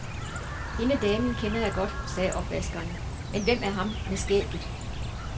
Hende damen kender jeg godt, sagde opvaskeren, men hvem er ham med skægget?